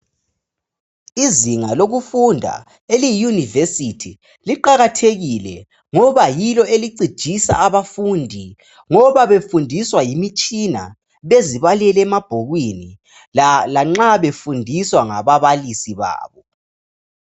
Izinga lokufunda eliyiyunibesithi liqakathekile ngoba yilo elicijisa abafundi ngoba befundiswa yimitshina bezibalela emabhukwini lanxa befundiswa ngababalisi babo.